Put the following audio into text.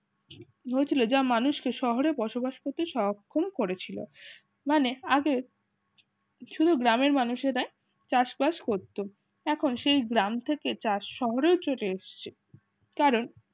বুজলে যা মানুষকে শহরে বসবাস করতে সারাক্ষণ করেছিল মানে আগে শুধু গ্রামের মানুষেরা চাষবাস করত এখন সেই গ্রাম থেকে চাষ শহরের জোড়ে এসছে। কারণ